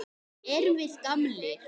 Erum við gamlir?